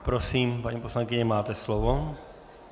Prosím, paní poslankyně, máte slovo.